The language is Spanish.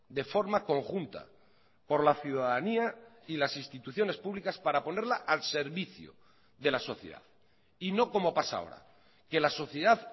de forma conjunta por la ciudadanía y las instituciones públicas para ponerla al servicio de la sociedad y no como pasa ahora que la sociedad